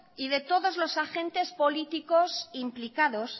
y todos los agentes políticos implicados